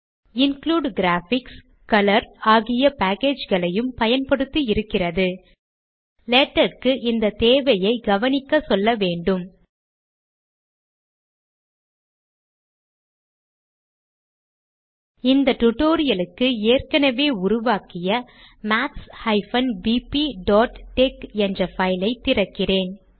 includegraphics colour ஆகிய packageகளையும் பயன்படுத்தி இருக்கிறது -லேடக் க்கு இந்த தேவையை கவனிக்கச் சொல்ல வேண்டும் இந்த டுடோரியலுக்கு ஏற்கனவே உருவாக்கிய maths bpடெக்ஸ் என்ற பைல் ஐ திறக்கிறேன்